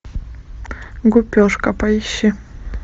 гупешка поищи